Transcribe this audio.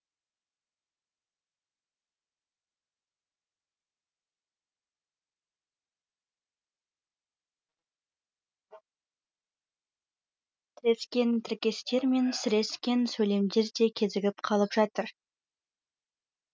тірескен тіркестер мен сірескен сөйлемдер де кезігіп қалып жатыр